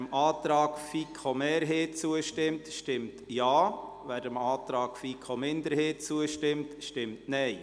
Wer dem Antrag FiKo-Mehrheit zustimmt, stimmt Ja, wer den Antrag-FiKo-Minderheit bevorzugt, stimmt Nein.